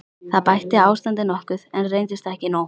Það bætti ástandið nokkuð, en reyndist ekki nóg.